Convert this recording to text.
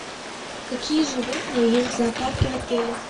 какие животные есть в зоопарке в отеле